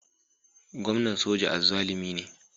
Gwamnan soja azzalumi ne